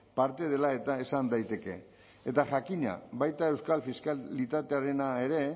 parte dela eta esan daiteke eta jakina baita euskal fiskalitatearena ere